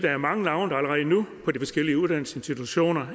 er mange navne på forskellige uddannelsesinstitutioner